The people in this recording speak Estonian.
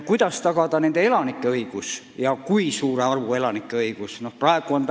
Kuidas tagada elanike õigused ja kui suure arvu elanike õigused tuleb tagada?